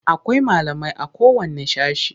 Akwai malamai.a kowanne sashe.